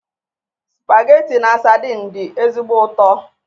Spageti na sadin dị ezigbo ụtọ.